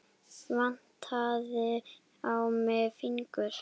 Vantaði á mig fingur?